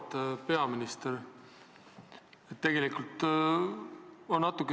Auväärt peaminister!